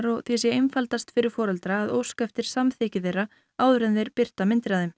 og því sé einfaldast fyrir foreldra að óska eftir samþykki þeirra áður en þeir birta myndir af þeim